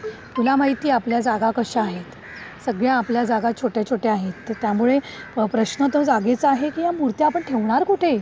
तुला माहिती आपल्या जागा कशा आहेत. सगळ्या आपल्या जागा छोट्या छोट्या आहेत. तर त्यामुळे प्रश्न तर जागेचा आहे की या मूर्त्या आपण ठेवणार कुठे?